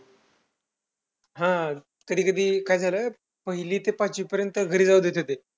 हा कधी कधी काय झालं, पहिली ते पाचवीपर्यंत घरी जाऊ देत होते.